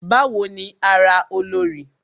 Bawo ni ara Olorì?